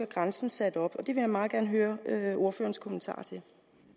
grænsen sat op det vil jeg meget gerne høre ordførerens kommentarer til